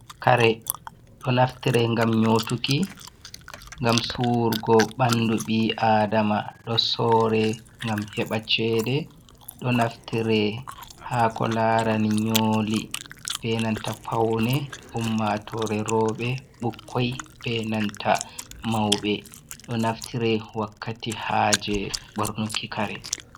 "Kare" do naftire ngam nyotuki ngam suwurgo ɓandu ɓi adama do sore ngam heɓa cheɗe do naftire hako larani nyoli benanta paune ummatore roɓe, ɓukkoi ɓenanta mauɓe ɗo jnaftire wakkati ha je ɓornuki kare.